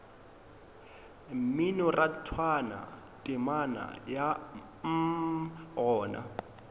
mminorathwana temana ya mm gona